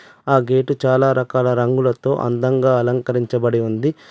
ఆ గేటు చాలా రకాల రంగులతో అందంగా అలంకరించబడి ఉంది.